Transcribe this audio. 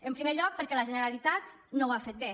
en primer lloc perquè la generalitat no ho ha fet bé